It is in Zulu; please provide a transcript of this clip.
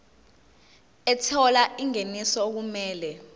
ethola ingeniso okumele